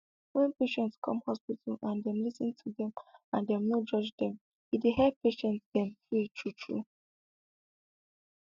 wen patient come hospital and dem lis ten to dem and dem no judge dem e dey help make patient dem free true true